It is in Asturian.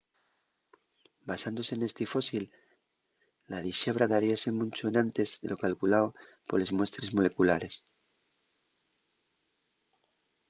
basándose nesti fósil la dixebra daríase muncho enantes de lo calculao poles muestres moleculares